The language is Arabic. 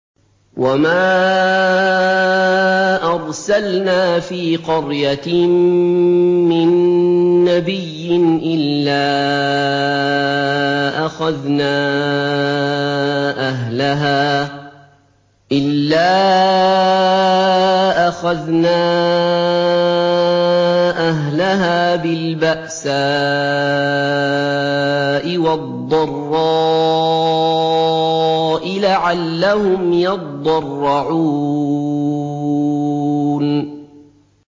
وَمَا أَرْسَلْنَا فِي قَرْيَةٍ مِّن نَّبِيٍّ إِلَّا أَخَذْنَا أَهْلَهَا بِالْبَأْسَاءِ وَالضَّرَّاءِ لَعَلَّهُمْ يَضَّرَّعُونَ